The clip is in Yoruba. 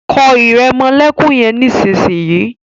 kọ iremolekun yén nísìsiyìí!